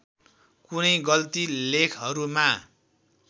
कुनै गल्ती लेखहरूमा